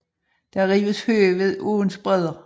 Der rives hø ved åens bredder